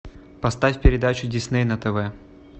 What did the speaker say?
поставь передачу дисней на тв